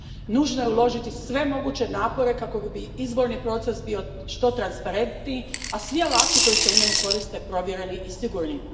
Nužno je uložiti sve moguće napore kako bi izborni proces bio što transparentniji, a svi alati koji se u njemu koriste provjereni i sigurni.